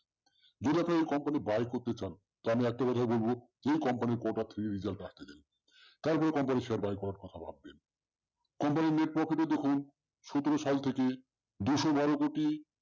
যদি আপনারা এই company buy ভাই করতে চান আমি একটা কথাই বলবো একে কথা থেকে result দেয় না তাই এই company share boycott করা হোক company র net profit দেখুন সাতের সাল থেকে দু স তের কোটি